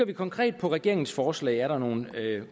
det konkrete regeringsforslag er der nogle